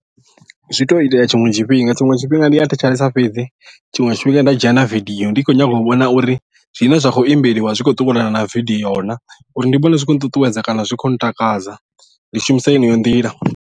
Zwi to itea tshiṅwe tshifhinga tshiṅwe tshifhinga ndi a thetshelesa fhedzi tshiṅwe tshifhinga nda dzhia na video ndi khou nyanga u vhona uri zwine zwa khou imbeliwa zwi khou ṱuwelana na video na uri ndi vhone zwi khou nṱuṱuwedza kana zwi khou ntakadza ndi shumisa yeneyo nḓila.